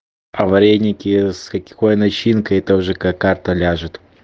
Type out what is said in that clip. а вареники с какой начинкой это уже как карта ляжет